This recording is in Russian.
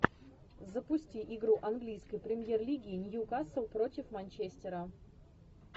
запусти игру английской премьер лиги ньюкасл против манчестера